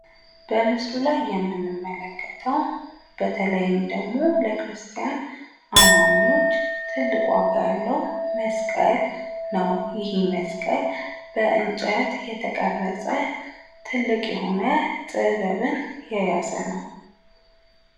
በምስሉ ላይ የምንመለከተው በተለይም ደግሞ ለክርስቲያን አማኞች ትልቅ ዋጋ ያለው መስቀል ነው። ይሄ መስቀል በእንጨት የተቀረጸ ትልቅ የሆነ ጥበብን የያዘ ነው።